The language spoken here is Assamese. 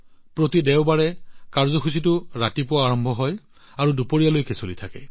প্ৰতি দেওবাৰে ৰাতিপুৱা কাৰ্যসূচী আৰম্ভ হয় আৰু দুপৰীয়ালৈকে চলি থাকে